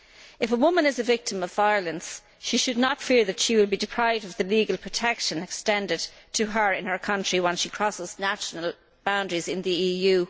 If a woman is a victim of violence, she should not fear that she will be deprived of the legal protection extended to her in her own country once she crosses national boundaries in the EU.